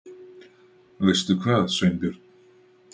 Veistu hvað, Sveinbjörn?